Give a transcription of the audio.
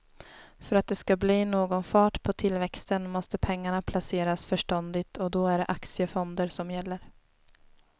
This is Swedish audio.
För att det ska bli någon fart på tillväxten måste pengarna placeras förståndigt och då är det aktiefonder som gäller.